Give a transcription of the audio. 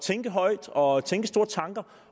tænke højt og tænke store tanker